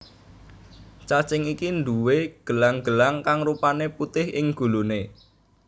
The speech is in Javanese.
Cacing iki nduwé gelang gelang kang rupané putih ing gulune